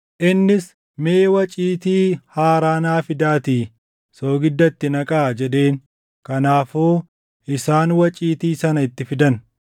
Innis, “Mee waciitii haaraa naa fidaatii soogidda itti naqaa” jedheen. Kanaafuu isaan waciitii sana itti fidan.